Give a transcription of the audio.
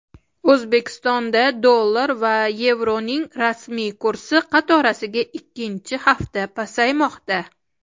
O‘zbekistonda dollar va yevroning rasmiy kursi qatorasiga ikkinchi hafta pasaymoqda.